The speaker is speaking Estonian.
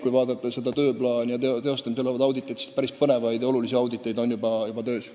Kui vaadata tööplaani ja teostamisel olevaid auditeid, siis päris palju põnevat on juba töös.